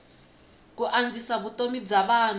ku antswisa vutomi bya vanhu